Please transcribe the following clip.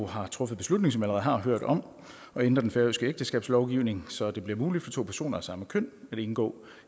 har truffet beslutning som har hørt om at ændre den færøske ægteskabslovgivning så det bliver muligt for to personer af samme køn at indgå